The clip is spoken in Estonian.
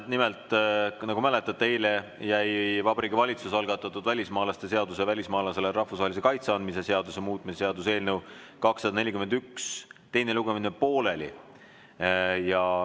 Nimelt, nagu mäletate, eile jäi Vabariigi Valitsuse algatatud välismaalaste seaduse ja välismaalasele rahvusvahelise kaitse andmise seaduse muutmise seaduse eelnõu 241 teine lugemine pooleli.